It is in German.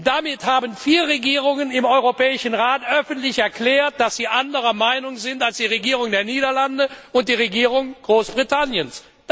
Damit haben vier Regierungen im Europäischen Rat öffentlich erklärt, dass sie anderer Meinung sind als die Regierung der Niederlande und die Regierung Großbritanniens.